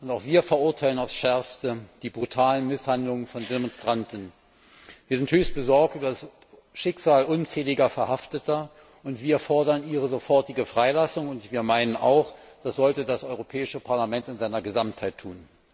Auch wir verurteilen auf das Schärfste die brutalen Misshandlungen von Demonstranten. Wir sind höchst besorgt über das Schicksal unzähliger Verhafteter und fordern ihre sofortige Freilassung, und wir meinen auch, das sollte das Europäische Parlament in seiner Gesamtheit tun.